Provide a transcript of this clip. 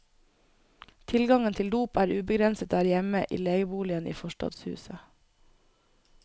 Tilgangen til dop er ubegrenset der hjemme i legeboligen i forstadshuset.